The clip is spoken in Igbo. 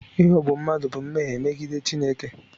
Ịghọgbu mmadụ bụ mmehie megide Chineke.